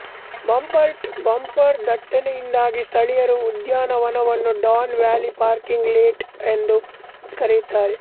bumper to bumper ದಟ್ಟಣೆಯಿಂದಾಗಿ ಸ್ಥಳೀಯರು ಉದ್ಯಾನವನವನ್ನು ಡಾನ್ ವ್ಯಾಲಿ ಪಾರ್ಕಿಂಗ್ ಲಾಟ್ ಎಂದು ಕರೆಯುತ್ತಾರೆ